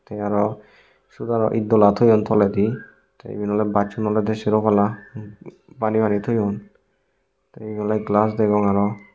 te aro siot aro itdola toyon toledi te iben oley bachum olodey sero palla bani bani toyon te ibey oley glass degong aro.